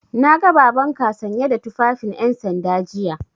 Na ga Babanka sanye da tufafin 'yansanda jiya.